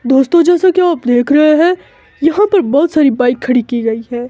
दोस्तों जैसा की आप देख रहे हैं यहां पर बहोत सारी बाइक खड़ी की गई है।